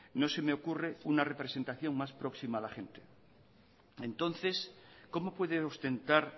no se me ocurre una representación más próxima a la gente entonces cómo puede ostentar